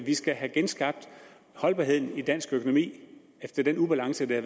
skal have genskabt holdbarheden i dansk økonomi efter den ubalance der